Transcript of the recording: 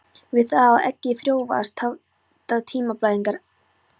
Við það að eggið frjóvgast hætta tíðablæðingarnar.